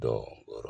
Dɔ wɔrɔ